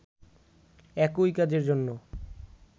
একই কাজের জন্য